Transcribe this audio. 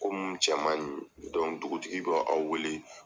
Ko minnu cɛ man ɲi dugutigi bɛ aw wele